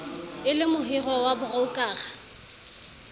e le mohirwa wa broukara